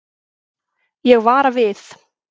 Ég vara við.